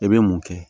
I bɛ mun kɛ